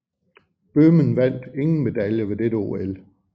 Bøhmen vandt ingen medaljer ved dette OL